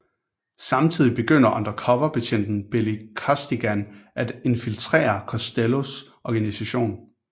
Samtidig begynder undercover betjenten Billy Costigan at infiltrere Costellos organisation